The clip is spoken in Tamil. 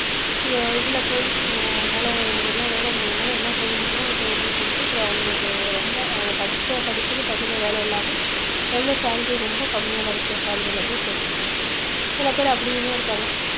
ஏன் இதுல போய் அஹ் என்னால எனக்கு என்ன வேல கு~ என்னால என்ன செய்ய முடியுமோ அத செய்யறேன்னு சொல்லிட்டு அப்புறம் அவங்களுக்கு ரொம்ப அவங்க படிச்ச படிப்புக்கு தகுந்த வேலை இல்லாம எவ்வளவு salary ரொம்ப கம்மியா கிடைச்ச salary ல போய் சேர்ந்துக்கிட்டாங்க சில பேர் அப்படியுமே இருக்காங்க